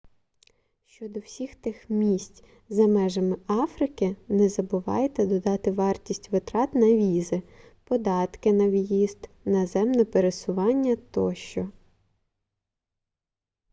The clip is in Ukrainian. щодо всіх тих місць за межами африки не забувайте додати вартість витрат на візи податки на виїзд наземне пересування тощо